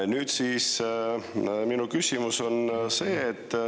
Nüüd, minu küsimus on see.